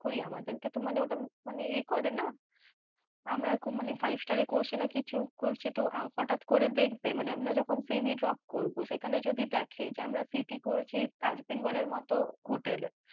কই আমাদের কে তো মানে ঐটা মানে য়ে করে না, আমরা five star এ করছি না কিছু করছি তো হটাৎ করে দেখবে মানে আমরা যখন CVdrop করব, সেখানে যদি দেখে যে আমরা CT করছি তাজ বেঙ্গলের মতন hotel এ